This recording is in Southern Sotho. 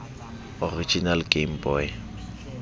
original game boy